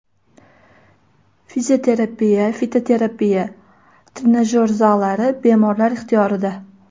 Fizioterapiya, fitoterapiya, trenajyor zallari bemorlar ixtiyorida.